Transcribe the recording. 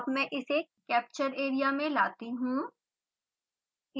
अब मैं इसे कैप्चर एरिया में लाती हूँ